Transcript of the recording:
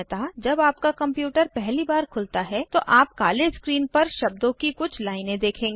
सामान्यतः जब आपका कंप्यूटर पहली बार खुलता है तो आप काले स्क्रीन पर शब्दों की कुछ लाइनें देखेंगे